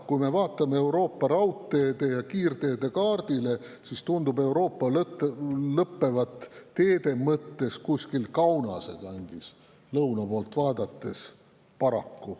Kui me vaatame Euroopa raudteede ja kiirteede kaardile, siis tundub lõuna poolt teid vaadates Euroopa paraku lõppevat kuskil Kaunase kandis.